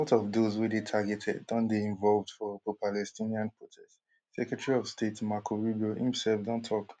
but a lot of those wey dey targeted don dey involved for propalestinian protests secretary of state marco rubio imself don tok